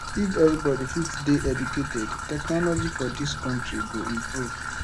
if everybody fit dey educated technology for dis country go improve